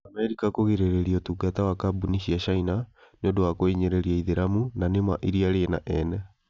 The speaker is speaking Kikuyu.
Amerika Kũgirĩrĩria Ũtungata wa kambuni cia China nĩ ũndũ wa kũhinyĩrĩria Aithĩramu na nĩ ma iria rĩ na 'ene'?